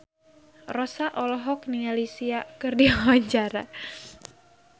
Rossa olohok ningali Sia keur diwawancara